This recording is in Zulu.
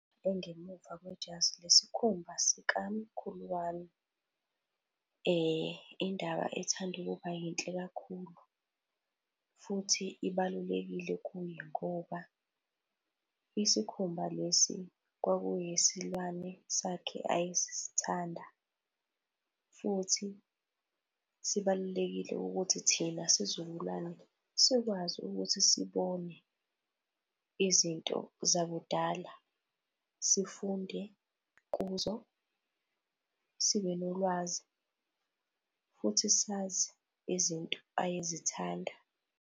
Engemuva kwejazi lesikhumba sikamkhulu wami. Indaba ethanda ukuba yinhle kakhulu futhi ibalulekile kuyo ngoba isikhumba lesi kwaku eyesilwane sakhe ayesithanda futhi sibalulekile ukuthi thina sizukulwane sikwazi ukuthi sibone izinto zakudala sifunde kuzo, sibe nolwazi futhi sazi izinto ayezithanda.